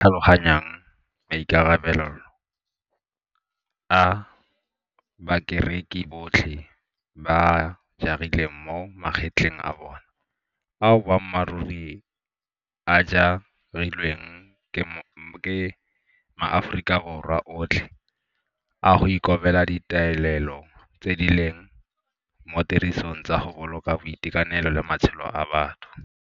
Ba tlhaloganya maikarabelo a bakereki botlhe ba a jarileng mo magetleng a bona ao boammaruri a ja rilweng ke maAforika Borwa otlhe a go ikobela ditaolelo tse di leng mo tirisong tsa go boloka boitekanelo le matshelo a batho.